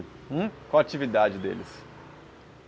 Hum? Qual a atividade deles?